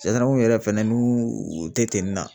yɛrɛ fɛnɛ n'u tɛ na